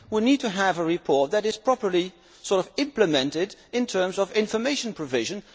We need to have a report that is properly implemented in terms of information provision.